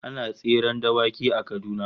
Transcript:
Ana tseren dawaki a Kaduna